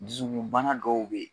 Dusukunbana dɔw bɛ yen